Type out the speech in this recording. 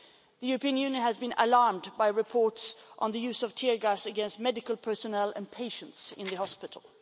The European Union has been alarmed by reports of the use of tear gas against medical personnel and patients in hospital.